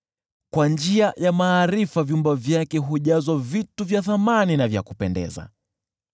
kwa njia ya maarifa vyumba vyake hujazwa vitu vya thamani na vya kupendeza.